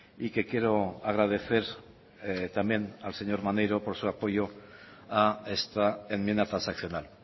y que quiero agradecer también al señor maneiro por su apoyo a esta enmienda transaccional